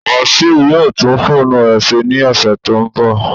Wasiu will repair his phone next week